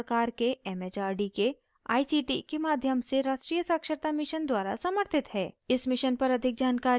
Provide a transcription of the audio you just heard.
यह भारत सरकार के it it आर डी के आई सी टी के माध्यम से राष्ट्रीय साक्षरता mission द्वारा समर्थित है